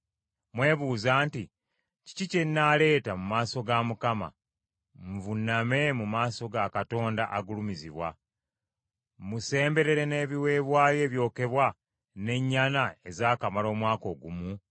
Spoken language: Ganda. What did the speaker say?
Mwebuuza nti kiki kye nnaaleeta mu maaso ga Mukama nvuuname mu maaso ga Katonda agulumizibwa? Mmusemberere n’ebiweebwayo ebyokebwa, n’ennyana ezaakamala omwaka ogumu?